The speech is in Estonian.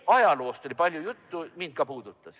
Ajaloost oli palju juttu, ka mind puudutas see.